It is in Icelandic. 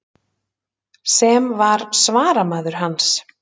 Sem var svaramaður hans.